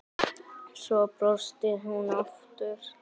Svo brosti hún aftur.